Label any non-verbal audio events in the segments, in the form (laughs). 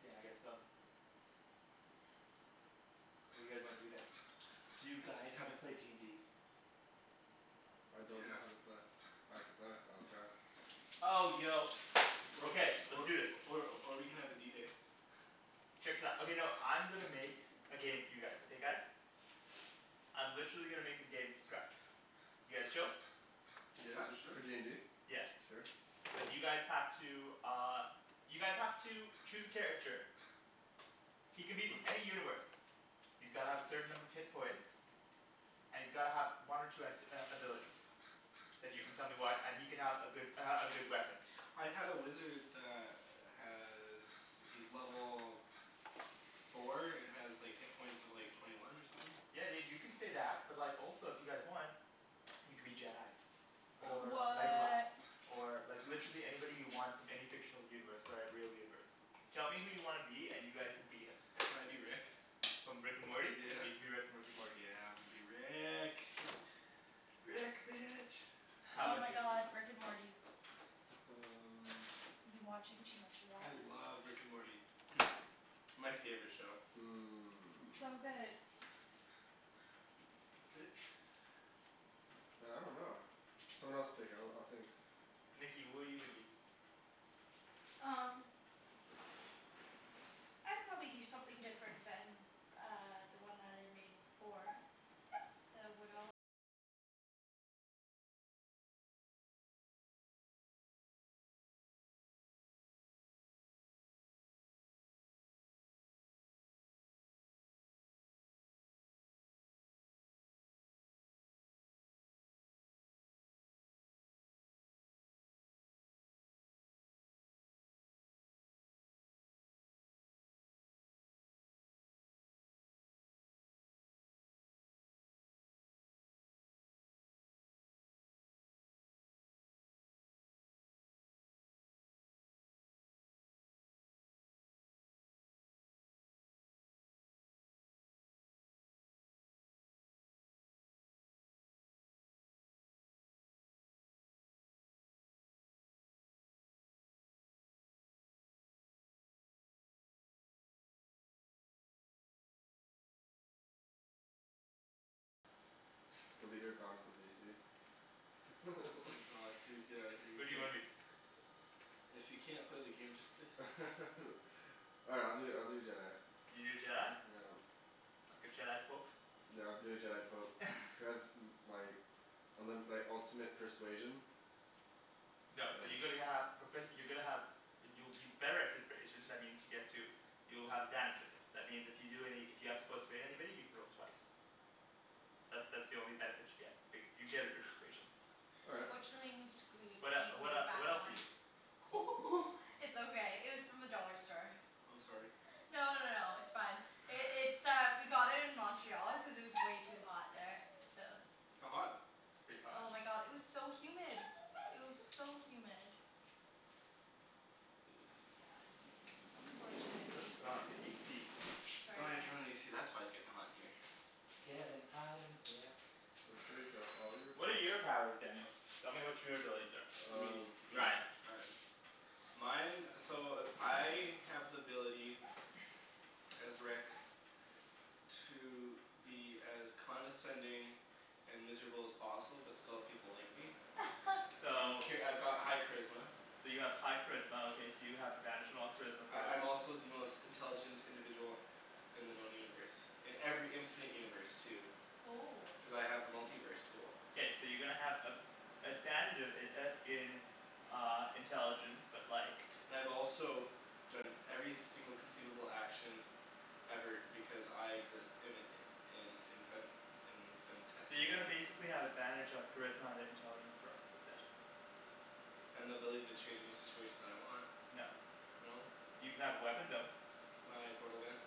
Yeah I guess so. What do you guys wanna do then? Do you You guys wanna haven't play d n d? I don't know Yeah. how to play. I can play. I'll try. Oh yo. Or Okay, let's or do this. or or we can have a D day. Check this out. Okay no, I'm gonna make a game for you guys, okay guys? I'm literally gonna make a game from scratch. You guys chill? Yeah Is it sure. for d n d? Yeah. Sure. But you guys have to uh you guys have to choose a character. He can be from (noise) any universe. He's gotta have a certain number of hit points. And he's gotta have one or two act- uh abilities. And you can tell me Yeah. what and he can have a good uh a good weapon. I had a wizard that has, he's level four and has like hit points of like twenty one or somethin'. Yeah dude, you can say that. But like also if you guys want you can be Jedis. (noise) Or Legolas. What! Or like literally anybody you want from any fictional universe or real universe. Tell me who you wanna be and you guys can be him. Can I be Rick? From Rick and Morty? Yeah. You can be Rick from Rick and Morty. Yeah I'm gonna be Rick. (laughs) Rick, bitch. How Oh 'bout Oh. my you? (laughs) god. Rick and Morty. (noise) um I've been watching too much of I that (noise) love Rick and Morty. (noise) My favorite show. It's so good. Hmm Man I dunno. Someone else pick, I'll I'll think. Nikki, who are you gonna be? Um The leader of (inaudible) (laughs) Oh my god dude, get out of here. You Who do you can't wanna be? (noise) If you can't play the game just say so. (laughs) Alright I'll do I'll do a Jedi. You do a Jedi? Yeah. Like a Jedi pope? Yeah I'll do a Jedi pope. (laughs) Cuz (noise) like and then like ultimate persuasion. No, so you're (noise) going to have profe- you're gonna have you'll you're better at persuasion. That means you get to you'll have advantage of it. That means if you do any, if you have to persuade anybody you can roll twice. That that's the only benefit you get, but you get a persuasion. All (laughs) right. Unfortunately it needs to glue What it uh be what uh glued back what else are on. you? (laughs) (noise) (noise) It's okay, it was from (noise) the dollar store. I'm sorry. No no no no, it's fine. It's uh we got it in Montreal because it was way too hot there, so How hot? Pretty hot. Oh my god, it was so humid! It was so humid. Yeah, Let's unfortunately. put on the AC. Sorry Oh yeah guys. turn on the AC, that's why it's getting hot in here. It's gettin' hot in here. So take off all your What are your clothes. powers, Daniel? Tell me what your abilities are. You Um mean me? Ryan Ryan. Mine, so I have the ability as Rick to be as condescending and miserable as possible, but still have people like me. (laughs) So Okay, I've got high charisma. So you have high charisma okay, so you have advantage on all charisma corrals I'm also the most intelligent individual in the known universe. In every infinite universe too. Oh Cuz I have the multi-verse tool. K, so you're gonna have a- advantage uh uh in uh intelligence but like And I've also done every single conceivable action ever because I exist in in infin- So you're gonna infinitesimal basically have advantage on charisma and it intelligent throws. That's it. And the ability to change any situation that I want. No. No. You can have a weapon Aw though. My portal gun.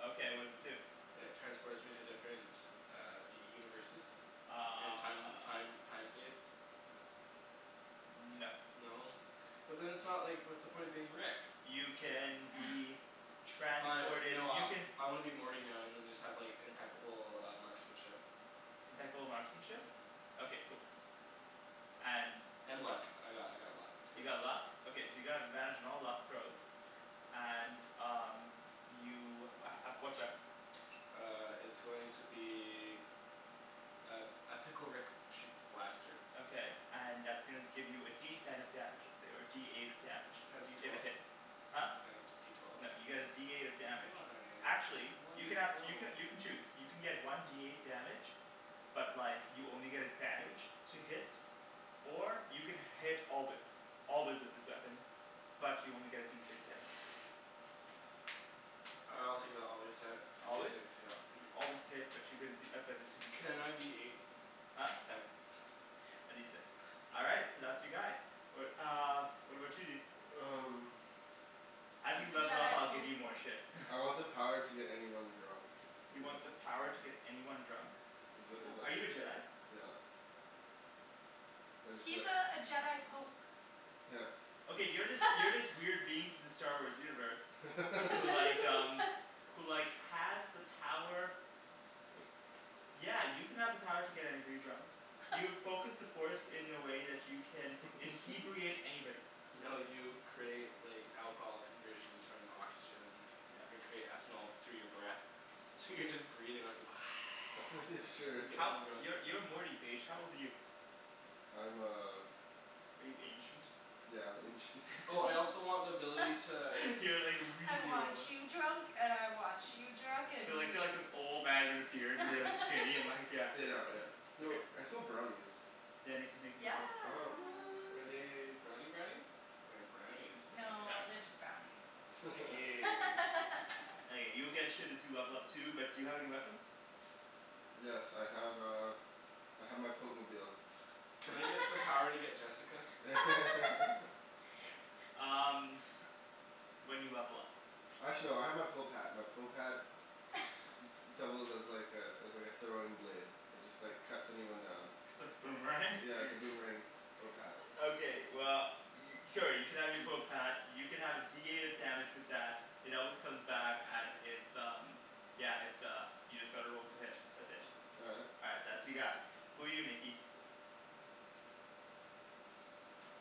Okay, what does it do? It transports me to different universes and time Uh time time space. No. No? But then it's not like, what's the point of being Rick? You can be (laughs) Fine transported. no, You I can I wanna be Morty now and then just have impeccable uh marksmanship. Impeccable marksmanship? Mhm. Okay cool. And And what else? luck. I got I got luck too. You got luck? Okay so you're gonna have advantage on all luck throws. And um you uh uh what weapon? Uh it's going to be a a pickle Rick shoot blaster. Okay and that's gonna give you a D ten of damage, let's say, or a D eight of damage. Can I have D If it twelve? hits. Huh? Can I have D twelve? No, you get a D eight of damage. Why? Actually, I you wanted can to have throw. you can you can choose. You can get one D eight damage But like you only get advantage to hit or you can hit always. Always with this weapon, but you only get a D six damage. I'll take the always hit for D Always? six yep. So you always hit, but you get a D but it's a D six. Can I be eight? (noise) Huh? No. Can A D six. All right, so that's your guy. What uh what about you dude? Um As you He's a level up Jedi I'll give pope. you more shit (laughs) I want the power to get anyone drunk. Is You it want the power to get anyone drunk? Is it is Are you a it, (noise) Jedi? yep So I just go He's like (noise) uh a Jedi pope. Yep. Okay, you're this you're this (laughs) weird being from the Star Wars universe who like (laughs) um (laughs) who like has the power Yeah, you can have the power to get anybody drunk. You've (laughs) focused the force in a way that you can "inhebriate" (laughs) anybody. No you create like alcohol conversions from oxygen. Your Yeah. create ethanol through your breath. So you're just breathin' out you go (laughs) (noise) Sure. and gettin' How, 'em drunk. you're you're Morty's age. How old are you? I'm uh Are you ancient? Yeah, I'm ancient. Oh (laughs) I also want the ability (laughs) to You're like "I really want old you huh drunk and I want you drunk, (laughs) and You're like you you're like drunk." this old man with a beard and really (laughs) skinny and (laughs) like yeah. Yeah, yeah. (noise) Yo, I smell brownies. Yeah, Nikki's making Yeah. brownies. Oh what. Are they brownie brownies or brownie's brownie? No, Brownie they're brownies. just brownies. Aw, Nikki. (laughs) (laughs) Okay, you'll get shit as you level up too, but do you have any weapons? Yes I have uh I have my pope-mobile. Can I get the (noise) power to get Jessica? (laughs) (laughs) Um When you level up. K. Actually, no I have my pope hat. My pope hat (laughs) d- d- doubles as like a as like a throwing blade. It just like cuts anyone down. It's a boomerang? Yeah, it's a boomerang (laughs) pope hat. (laughs) Okay well, y- oh you can have your pope hat. You can have a D eight of damage with that. It always comes back and it's um yeah, it's uh, you just gotta roll to hit. That's it. All right. All right, that's your guy. Who are you, Nikki?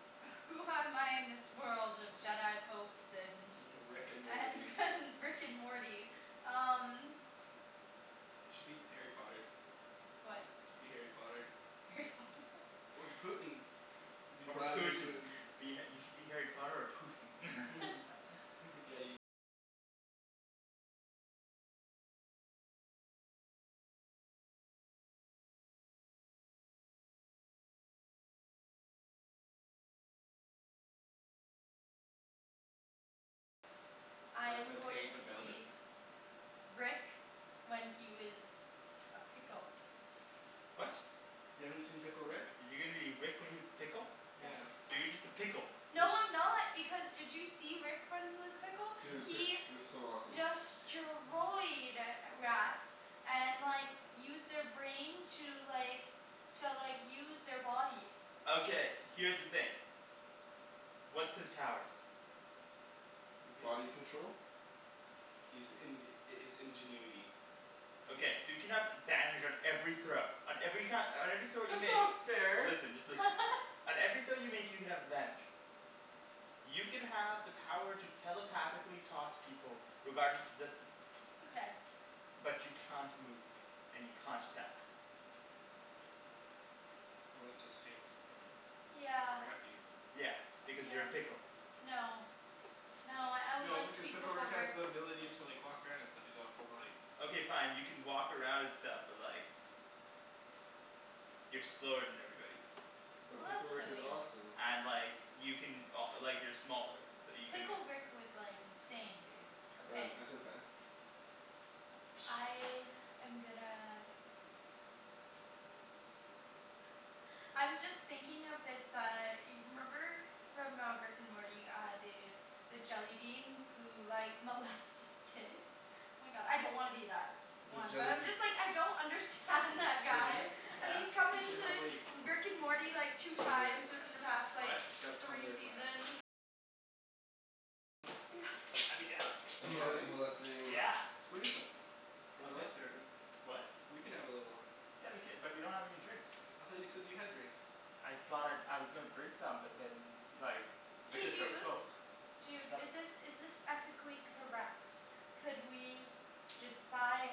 (laughs) Who am I in this world of Jedi popes and (laughs) Rick and Morty. and (laughs) and Rick and Morty? Um Should be Harry Potter. What? Should be Harry Potter. Harry Potter? (laughs) Or Putin. Be Or Vladimir Putin. Putin. You should be Harry Potter or Putin. (laughs) (laughs) I By the, am by paying going the to family? be Rick when he was a pickle. What? You haven't seen Pickle Rick? You're gonna be Rick when he was a pickle? Yes. Yeah. So you're just a pickle. It's No I'm not, because did you see Rick when he was a pickle? Dude, pi- He it was so awesome. (laughs) destroyed (noise) rats and like used their brain to like to like use their body. Okay, here's the thing. What's his powers? Body (laughs) control. He's in- his ingenuity. Okay, so you can have advantage on every throw on every ki- on every throw you That's make. not fair! Listen, just listen. (laughs) On every throw you make you can have advantage. You can have the power to telepathically talk to people regardless of distance. Okay. But you can't move, and you can't attack. Well that just seems kind of Yeah. crappy. Yeah, because you're Yeah. a pickle. No. No, I would No like to because be Pickle Pickle Rick has Rick. the ability to like walk around and stuff. He's all full body. Okay fine, you can walk around and stuff, but like you're slower than everybody. But Well, Pickle that's Rick is silly. awesome. And like you can o- like you're smaller so you can Pickle Rick was like insane, dude, Ryan, okay. pass me the fan? I am gonna I'm just thinking of this uh y- remember from uh Rick and Morty uh the the jellybean who like molests kids The jellybeans Arjan, Yeah you should have like What? Yeah. I'd be down. Do And you mole- have any? molesting Yeah. Let's go eat them. We're Okay. allowed sharing? What? We can have a little Yeah we cou- but we don't have any drinks. I thought you said that you had drinks. I thought I, I was gonna bring some but then like Hey liquor store was dude, closed. dude is Sup? this is this ethically correct? Could we just buy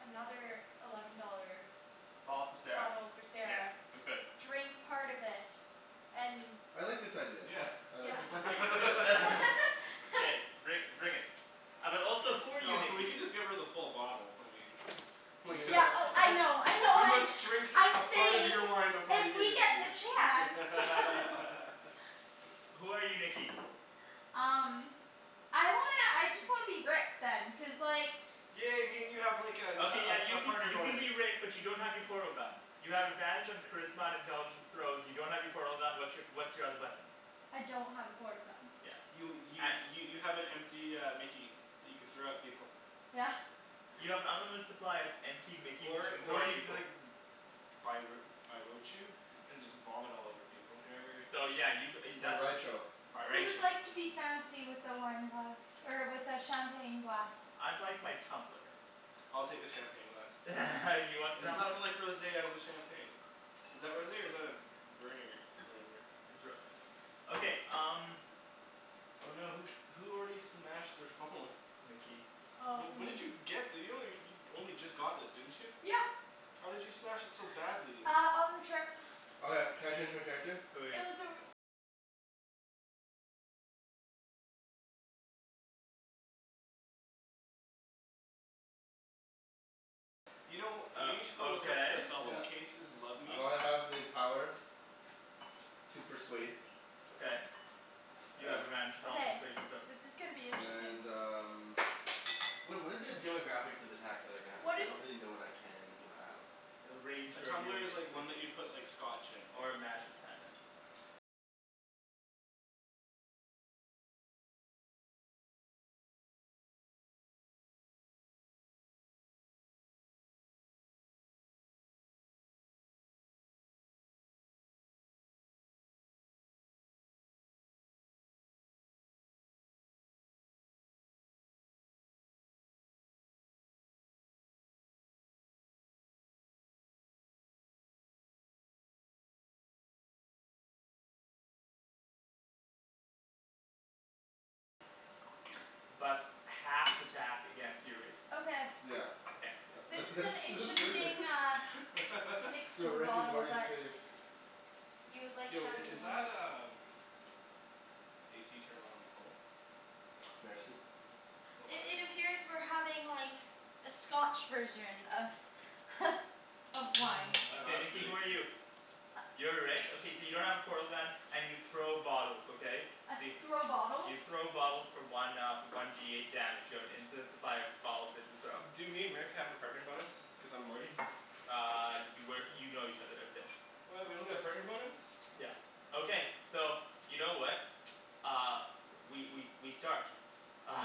another eleven dollar Bottle for Sarah? bottle for Yeah Sarah, we could. drink part of it, and I like this idea. Yeah. I like Yes this idea. Let's do (laughs) (laughs) it. (laughs) K, bring bring it. Uh but also who are you No we Nikki? can just give her the full bottle, I mean I We mean gonna Yeah oh I know I (laughs) we know, I'm must drink a I'm part of saying your wine before we if give we it get to you the chance (laughs) no (laughs) Who are you Nikki? Um I wanna, I just wanna be Rick then, cuz like Yeah I mean you have like Okay yeah a a you a can partner you can bonus. be Rick but you don't have your portal gun. You have advantage on charisma and intelligence throws, you don't have your portal gun, what's your what's your other weapon? I don't have a portal gun. Yeah. You y- (noise) y- you have an empty uh mickey that you can throw at people. Yeah. You have an unlimited supply of empty mickeys that you Or can throw or at you can be people. like (inaudible) and just vomit all over people. Or whatever. So yeah you g- uh you that's what- (inaudible) Who would like to (inaudible) be fancy with the wine glass er with the champagne glass? I'd like my tumbler. I'll take the champagne glass. (laughs) You want the There's tumbler? nothing like rosé out of a champagne. Is that rosé or is that a v- v- vernier whatever? It's rosé. Okay, um Oh no, who who already smashed their phone? Nikki. Oh Wh- when did me. you get this? You only you only just got this didn't you? Yeah. How did you smash it so badly? Uh on the trip. Okay, can I change my character? Who are you? You know you Uh, need to go look at the okay. cell phone Yeah. cases "Love I me." wanna have the power to persuade Okay, you have (noise) advantage on all Okay, persuasion throws. this is gonna be interesting. and um Wha- what are the demographics of attacks that I can have? Cuz What I is don't really know what I can and cannot have. It'll rain A here tumbler is immediately. like one that you put like scotch in. Or magic, kinda but half th- attack against your race Okay. Yeah. Okay, yeah. This That's is that's an that's interesting perfect (laughs) uh (laughs) mix Yo, of a Rick and bottle Morty is but safe. You would like Yo i- is champagne that um AC turned on full? Merci. Cuz it's it's still I- hot in It here. appears we're having like a scotch version of (laughs) of wine. (noise) Okay That's Nikki (noise) really who are you? sleep. You're Rick? Okay so you don't have a portal gun and you throw bottles, okay? So you Throw bottles? You throw bottles for one uh one D eight damage. You have an infinite supply of bottles that you throw. Do me and Rick have a partner bonus cuz I'm Morty? Uh you work, you know each other, that's it. What? We don't get a partner bonus? Yeah. Okay, so you know what? (noise) Uh, we we we start. Uh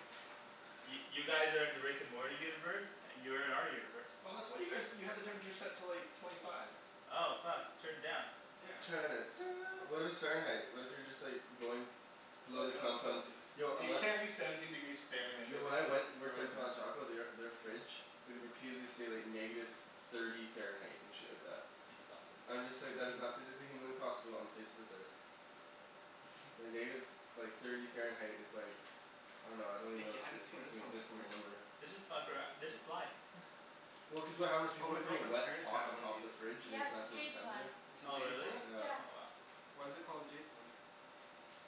(laughs) Y- you guys are in the Rick and Morty universe, and you're in our universe. Oh that's what you guys you had the temperature set to like twenty five. Oh fuck. Turn it down. Yeah. Turn it do- what if it's Fahrenheit? What if you're just like going below Well the no, it's confines, Celcius. yo I You wan- can't be seventeen degrees Fahrenheit; Yo when I that's like went worked at (inaudible) frozen. Taco they are their fridge would repeatedly say like negative thirty Fahrenheit and shit like that. That's awesome. I'm just like, that is not (noise) physically humanly possible on the face of this earth. Like (laughs) negative, like thirty Fahrenheit is like I dunno, I don't even know how Nikki, to I say, hadn't seen like an this one before. inexistable number. They just fuck arou- they just lie (laughs) Well cuz of how those people Oh were my putting girlfriend's wet parents pot have on one of top of these. the fridge and it Yeah was it's a messing with the jade plant. sensor. It's a Oh jade really? plant? Yeah. Oh wow. Why is it called a jade plant?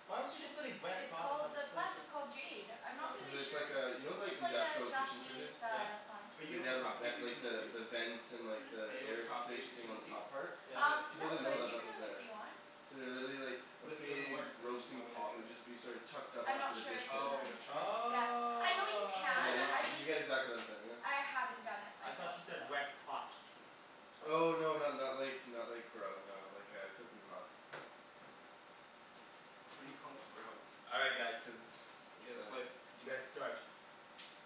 Why would you go Just putting wet it's pot on top called, of the a plant sensor? is called jade. I'm not Cuz Oh. really it's sure. like uh, you know like It's like a industrial kitchen Japanese fridges? Yeah. uh plant. Are you Way, able they to have the ven- propagate these like from the the leaves? the vent and Hmm? Are the you able to air propagate circulation these thing from on a the leaf? top part? Is Yeah. Um it People no a didn't know second but that you one? that was can if there. you want. So they literally like, a But if it doesn't big work then why roasting would I do pot would it? just be sort of tucked up I'm after not the sure dish if you pit. Oh, you're can. not Oh sure? Okay. Yeah. I know you Yeah can, y- I wow. you just, get exactly what I'm saying now. I haven't done it I thought myself, you so said "wet pot". (noise) Oh no not not like not like grow, no. Like a cooking pot. Why do you call it grow? All right guys. Cuz it's K, let's play. bad. You guys start.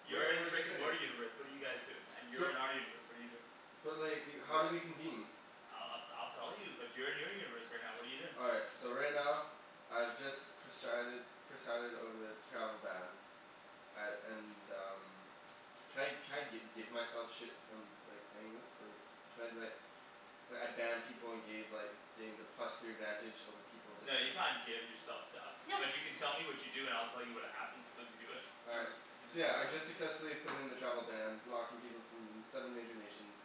You're Where in the where's our Rick and setting? Morty universe, what are you guys doing? And you're So in our universe, what are you doing? But like, Wait, how do what? we convene? I'll I'll I'll tell you, but you're in your universe right now, what are you doing? All right, so right now, I've just presided presided over the travel ban. I and um Can I can I gi- give myself shit from like saying this? Like, can I be like like I ban people and gave like gain the plus three advantage over people No, you definitive can't give yourself stuff, but (laughs) you can tell me what you do and I'll tell you what happened as you do it. All right, Cuz he's a so yeah I dungeon just master. successfully put in the travel ban, blocking people from them seven major nations.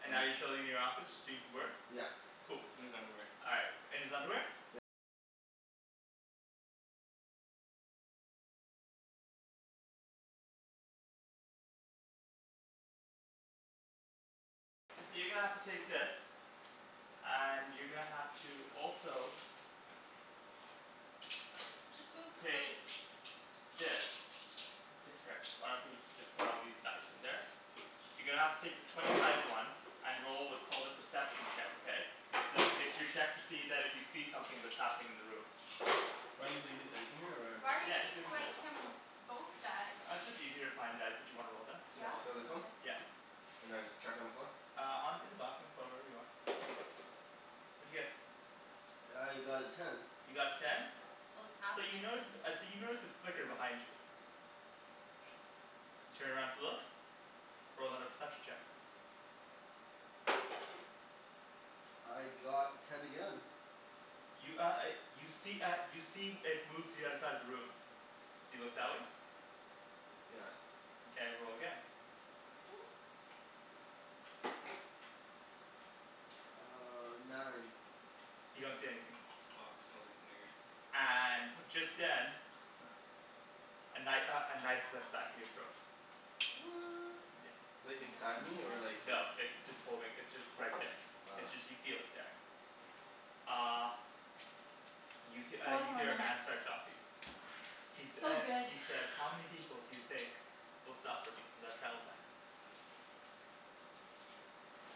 And Um now you're chilling in your office just doing some work? Yeah. Cool. In his underwear. All right, in his underwear? And you're gonna have to also Just move the take plate. this. That's it here. Why don't we just put all these dice in there. You're gonna have to take the twenty sided one and roll what's called a perception check, okay? It's to it's your check that if you see something that's happening in the room. Do I need to leave these dice in here or? Why are you Yeah, just leave giving them in there. like him both die? Uh it's just easier to find dice that you wanna roll then. You have Yeah? a lot of So this one? choices. Okay. Yeah. And I just chuck on the floor? Uh on in the box in the floor, wherever you want. What'd you get? I got a ten. You got a ten? Oh it's So you happenin' notice uh so you notice a flicker behind you. You turn around to look. Roll another perception check. I got ten again. You uh uh you see uh you see it move to the other side of the room. Do you look that way? Yes. Mkay, roll again. (noise) Uh nine. You don't see anything. This box smells like nerd. And just then (laughs) A kni- uh a knife is at the back of your throat. What! Yeah. Like, I wonder how inside many me or minutes. like there? No. It's just holding, it's just right there. Ah. It's just you feel it there. Uh You he- uh Four you more hear a man minutes. start talking. He (noise) sa- So uh good. he says "How many people do you think will suffer because of that travel ban?"